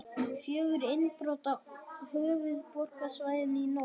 Fjögur innbrot á höfuðborgarsvæðinu í nótt